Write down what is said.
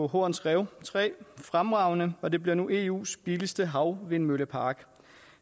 horns rev tre fremragende og det bliver nu eus billigste havvindmøllepark